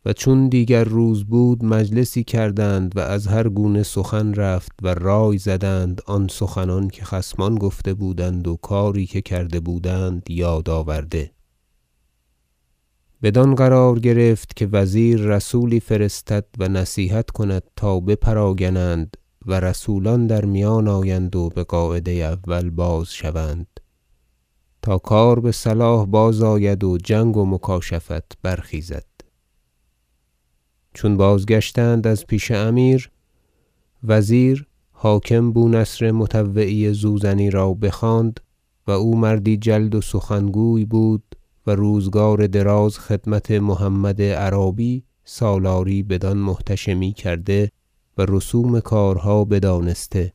اقدام وزیر در مصالحه با ترکمانان و چون دیگر روز بود مجلسی کردند و از هر گونه سخن رفت و رای زدند آن سخنان که خصمان گفته بودند و کاری که کرده بودند یاد آورده بدان قرار گرفت که وزیر رسولی فرستد و نصیحت کند تا بپراگنند و رسولان در میان آیند و بقاعده اول بازشوند تا کار بصلاح بازآید و جنگ و مکاشفت برخیزد چون بازگشتند از پیش امیر وزیر حاکم بو نصر مطوعی زوزنی را بخواند- و او مردی جلد و سخنگوی بود و روزگار دراز خدمت محمد عرابی سالاری بدان محتشمی کرده و رسوم کارها بدانسته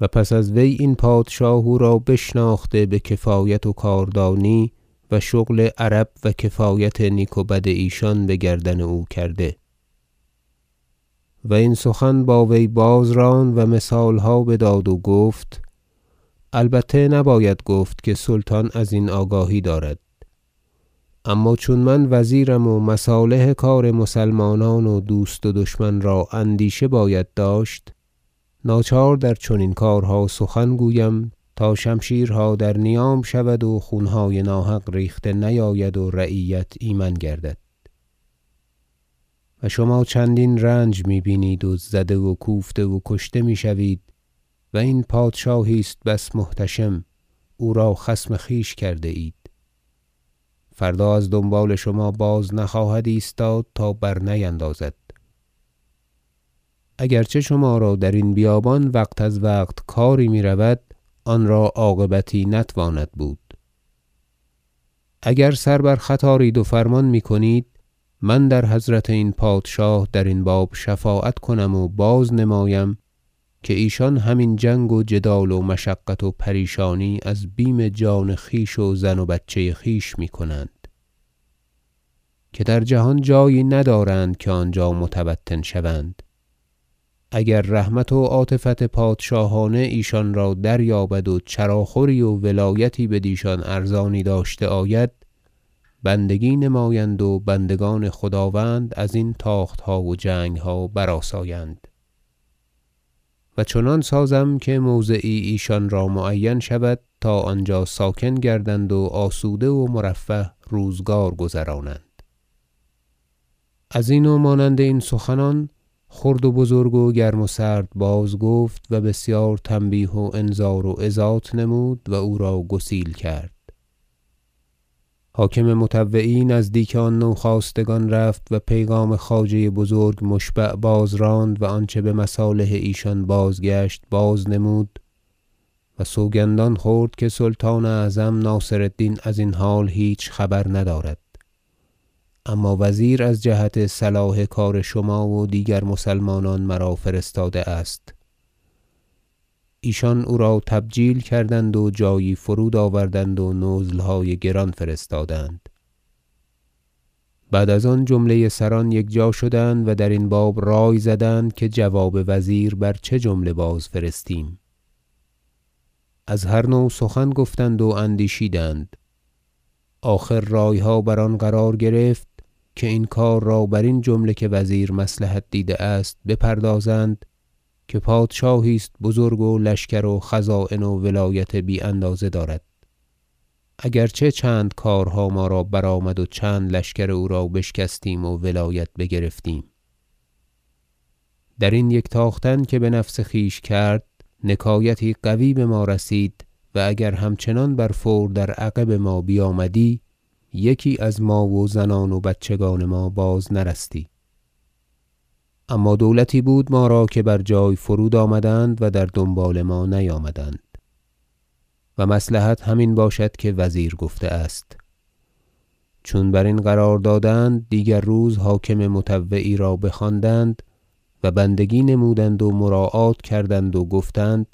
و پس از وی این پادشاه او را بشناخته بکفایت و کاردانی و شغل عرب و کفایت نیک و بد ایشان بگردن او کرده - و این سخن با وی باز راند و مثالها بداد و گفت البته نباید گفت که سلطان ازین آگاهی دارد اما چون من وزیرم و مصالح کار مسلمانان و دوست و دشمن را اندیشه باید داشت ناچار در چنین کارها سخن گویم تا شمشیرها در نیام شود و خونهای ناحق ریخته نیاید و رعیت ایمن گردد و شما چندین رنج می بینید و زده و کوفته و کشته میشوید و این پادشاهی است بس محتشم او را خصم خویش کرده اید فردا از دنبال شما بازنخواهد ایستاد تا برنیندازد اگر چه شما را درین بیابان وقت از وقت کاری میرود آن را عاقبتی نتواند بود اگر سر بر خط آرید و فرمان میکنید من در حضرت این پادشاه درین باب شفاعت کنم و بازنمایم که ایشان هم این جنگ و جدال و مشقت و پریشانی از بیم جان خویش و زن و بچه خویش میکنند که در جهان جایی ندارند که آنجا متوطن شوند اگر رحمت و عاطفت پادشاهانه ایشان را دریابد و چراخوری و ولایتی بدیشان ارزانی داشته آید بندگی نمایند و بندگان خداوند ازین تاختها و جنگها برآسایند و چنان سازم که موضعی ایشان را معین شود تا آنجا ساکن گردند و آسوده و مرفه روزگار گذرانند ازین و مانند این سخنان خرد و بزرگ و گرم و سرد باز گفت و بسیار تنبیه و انذار و عظات نمود و او را گسیل کرد حاکم مطوعی نزدیک آن نوخاستگان رفت و پیغام خواجه بزرگ مشبع باز راند و آنچه بمصالح ایشان بازگشت بازنمود و سوگندان خورد که سلطان اعظم ناصر الدین ازین حال هیچ خبر ندارد اما وزیر از جهت صلاح کار شما و دیگر مسلمانان مرا فرستاده است ایشان او را تبجیل کردند و بجایی فرود آوردند و نزلهای گران فرستادند بعد از آن جمله سران یکجا شدند و درین باب رای زدند که جواب وزیر بر چه جمله باز فرستیم از هر نوع سخن گفتند و اندیشیدند آخر رایها بر آن قرار گرفت که این کار را برین جمله که وزیر مصلحت دیده است بپردازند که پادشاهی است بزرگ و لشکر و خزاین و ولایت بی اندازه دارد اگر چه چند کارها ما را برآمد و چند لشکر او را بشکستیم و ولایت بگرفتیم درین یک تاختن که بنفس خویش کرد نکایتی قوی بما رسید و اگر همچنان بر فور در عقب ما بیامدی یکی از ما و زنان و بچگان ما باز نرستی اما دولتی بود ما را که بر جای فرود آمدند و در دنبال ما نیامدند و مصلحت همین باشد که وزیر گفته است چون برین قرار دادند دیگر روز حاکم مطوعی را بخواندند و بندگی نمودند و مراعات کردند و گفتند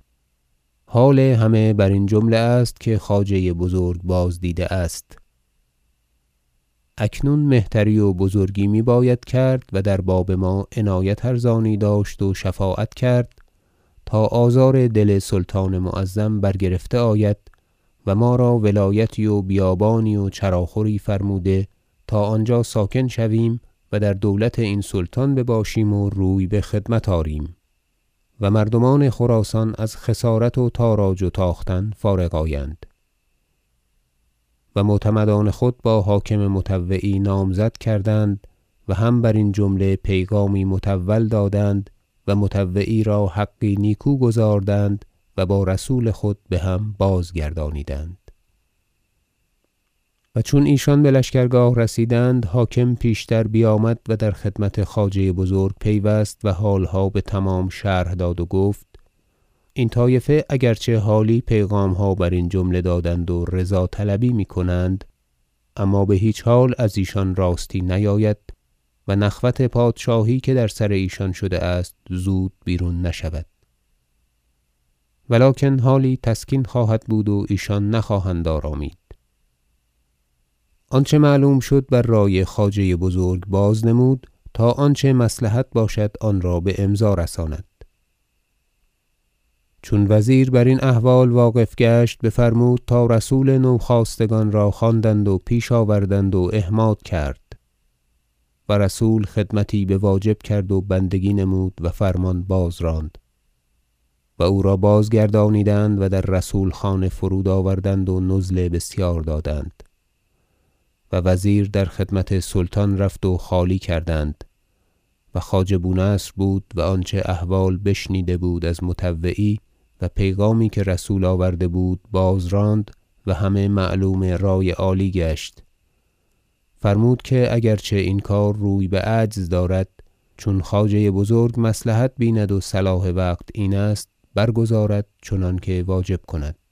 حال همه برین جمله است که خواجه بزرگ بازدیده است اکنون مهتری و بزرگی میباید کرد و در باب ما عنایت ارزانی داشت و شفاعت کرد تا آزار دل سلطان معظم برگرفته آید و ما را ولایتی و بیابانی و چراخوری فرموده تا آنجا ساکن شویم و در دولت این سلطان بباشیم و روی بخدمت آریم و مردمان خراسان از خسارت و تاراج و تاختن فارغ آیند و معتمدان خود با حاکم مطوعی نامزد کردند و هم برین جمله پیغامی مطول دادند و مطوعی را حقی نیکو گزاردند و با رسول خود بهم بازگردانیدند و چون ایشان بلشکرگاه رسیدند حاکم پیشتر بیامد و در خدمت خواجه بزرگ پیوست و حالها بتمام شرح داد و گفت این طایفه اگر چه حالی پیغامها برین جمله دادند و رضا طلبی میکنند اما بهیچ حال ازیشان راستی نیاید و نخوت پادشاهی که در سر ایشان شده است زود بیرون نشود و لکن حالی تسکین خواهد بود و ایشان نخواهند آرامید آنچه معلوم شد بر رای خواجه بزرگ بازنمود تا آنچه مصلحت باشد آنرا بامضا رساند چون وزیر برین احوال واقف گشت بفرمود تا رسول نوخاستگان را خواندند و پیش آوردند و احماد کرد و رسول خدمتی بواجب کرد و بندگی نمود و فرمان بازراند و او را بازگردانیدند و در رسول خانه فرود آوردند و نزل بسیار دادند و وزیر در خدمت سلطان رفت و خالی کردند و خواجه بو نصر بود و آنچه احوال بشنیده بود از مطوعی و پیغامی که رسول آورده بود بازراند و همه معلوم رای عالی گشت فرمود که اگر چه این کار روی بعجز دارد چون خواجه بزرگ مصلحت بیند و صلاح وقت این است برگزارد چنانکه واجب کند